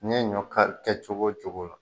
Ni ye ɲɔ kari kɛ cogo o cogo la.